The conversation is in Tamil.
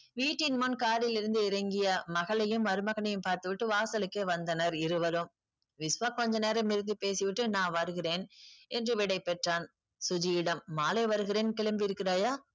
வீட்டின் முன் car ல் இருந்து இறங்கிய மகளையும் மருமகனையும் பாத்து விட்டு வாசலுக்கே வந்தனர் இருவரும். விஸ்வா கொஞ்ச நேரம் பேசிவிட்டு நான் வருகிறேன் என்று விடை பெற்றான். சுஜியிடம் மாலை வருகிறேன் கிளம்பி இருக்கிறாயா?